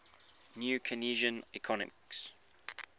new keynesian economics